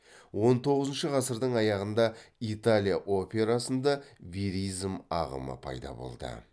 он тоғызыншы ғасырдың аяғында италия операсында веризм ағымы пайда болды